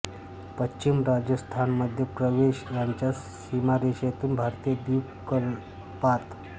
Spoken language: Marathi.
पश्चिम राजस्थान मध्य प्रदेश यांच्या सिमारेशेतून भारतीय द्वीपकल्पात